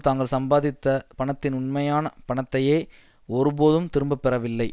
தாங்கள் சம்பாதித்த பணத்தின் உண்மையான பணத்தையே ஒருபோதும் திரும்பப்பெறவில்லை